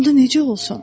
onda necə olsun?